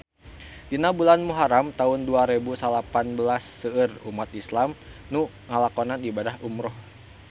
Dina bulan Muharam taun dua rebu salapan belas seueur umat islam nu ngalakonan ibadah umrah